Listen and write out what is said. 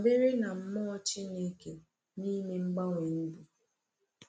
Dabere na Mmụọ Chineke n’ime mgbanwe ndụ.